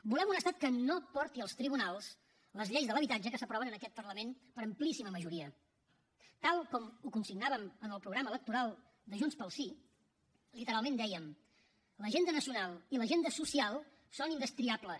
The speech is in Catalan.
volem un estat que no porti als tribunals les lleis de l’habitatge que s’aproven en aquest parlament per amplíssima majoria tal com ho consignàvem en el programa electoral de junts pel sí literalment dèiem l’agenda nacional i l’agenda social són indestriables